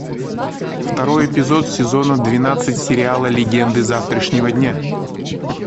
второй эпизод сезона двенадцать сериала легенды завтрашнего дня